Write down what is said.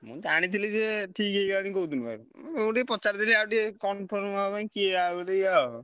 ମୁଁ ଜାଣିଥିଲେ ଯେ ଠିକ ହେଇଗଲାଣି କୋଉଦିନ ଠାରୁ ମୁଁ ତମୁକୁ ଟିକେ ପଚାରିଦେଲି ଆଉ ଟିକେ confirm ହବା ପାଇଁ କିଏ ଆଉ ଟିକେ ଆଉ।